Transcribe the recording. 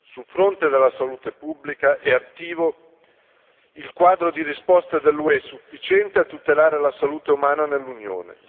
Sul fronte della salute pubblica è attivo il quadro di risposta dell'UE, sufficiente a tutelare la salute umana nell'Unione.